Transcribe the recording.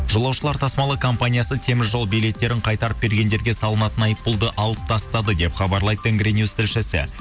жолушылар тасымалы компаниясы теміржол билеттерін қайтарып бергендерге салынатын айыппұлды алып тастады деп хабарлайды тенгринюс тілшісі